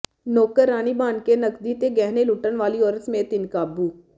ਨੌਕਰਾਣੀ ਬਣ ਕੇ ਨਕਦੀ ਤੇ ਗਹਿਣੇ ਲੁੱਟਣ ਵਾਲੀ ਔਰਤ ਸਮੇਤ ਤਿੰਨ ਕਾਬੂ